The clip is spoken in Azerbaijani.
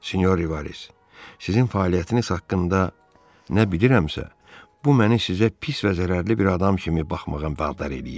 Sinyor Rivaris, sizin fəaliyyətiniz haqqında nə bilirəmsə, bu məni sizə pis və zərərli bir adam kimi baxmağa vadar eləyir.